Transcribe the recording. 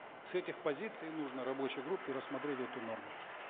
с этих позиций нужно рабочей группе рассмотреть эту норму